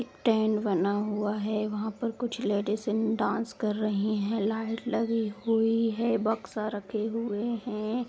एक टेन्ट बना हुआ है। वहाँ पर कुछ लेडिसें डांस कर रही हैं। लाइट लगी हुई है। बक्सा रखे हुए हैं।